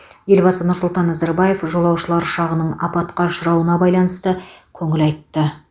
елбасы нұр сұлтан назарбаев жолаушылар ұшағының апатқа ұшырауына байланысты көңіл айтты